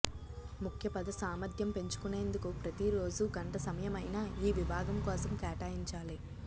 ముఖ్య పద సామర్థ్యం పెంచుకొనేందుకు ప్రతిరోజూ గంట సమయమైనా ఈ విభాగం కోసం కేటాయించాలి